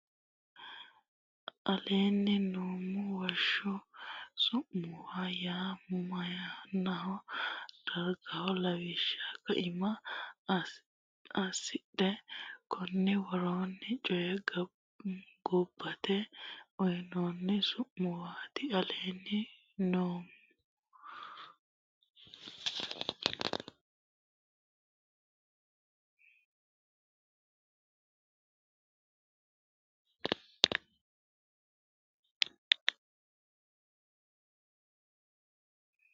aleenni nummo Woshsho su muwa yaa mannaho dargaho lawishsha kaima assidhe konni woroonni woy gobbate uyinoonni su muwaati aleenni nummo.